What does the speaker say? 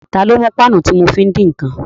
Ta ló mú páànù tí mo fi ń dín ǹkan?